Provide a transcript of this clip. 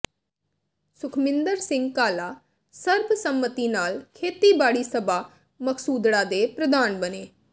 ਸੁਖਮਿੰਦਰ ਸਿੰਘ ਕਾਲਾ ਸਰਬਸੰਮਤੀ ਨਾਲ ਖੇਤੀਬਾੜੀ ਸਭਾ ਮਕਸੂਦੜਾ ਦੇ ਪ੍ਰਧਾਨ ਬਣੇ